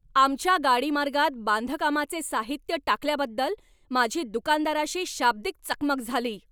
आमच्या गाडीमार्गात बांधकामाचे साहित्य टाकल्याबद्दल माझी दुकानदाराशी शाब्दिक चकमक झाली.